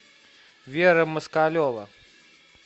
вера москалева